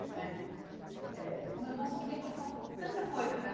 Né é Como eu posso querer passar tanta coisa para?